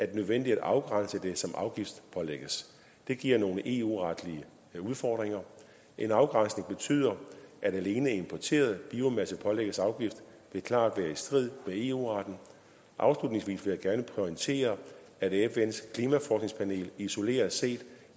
det nødvendigt at afgrænse det som afgiftspålægges det giver nogle eu retlige udfordringer en afgrænsning som betyder at alene importeret biomasse pålægges afgift vil klart være i strid med eu retten afslutningsvis vil jeg gerne pointere at fns klimaforskningspanel isoleret set